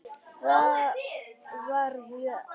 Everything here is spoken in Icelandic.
Það var mjög erfitt.